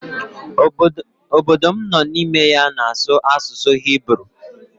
Obodo m nụ n'ime ya na-asụ asụsụ hiburu.